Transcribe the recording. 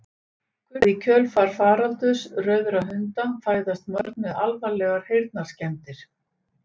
Kunnugt er að í kjölfar faraldurs rauðra hunda fæðast mörg börn með alvarlegar heyrnarskemmdir.